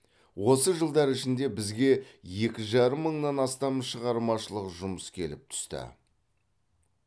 осы жылдар ішінде бізге екі жарым мыңнан астам шығармашылық жұмыс келіп түсті